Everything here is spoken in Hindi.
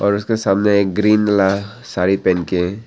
और उसके सामने एक ग्रीन ला साड़ी पहन के--